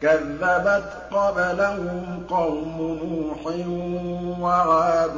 كَذَّبَتْ قَبْلَهُمْ قَوْمُ نُوحٍ وَعَادٌ